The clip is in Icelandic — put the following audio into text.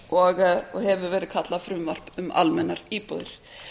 og hefur verið kallað frumvarp um almennar íbúðir